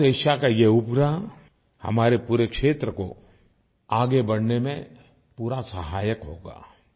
south Asia का यह उपग्रह हमारे पूरे क्षेत्र को आगे बढ़ने में पूरा सहायक होगा